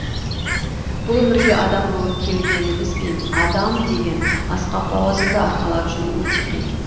бұл өмірге адам болып келгенімізбен адам деген асқақ лауазымды арқалап жүру өте қиын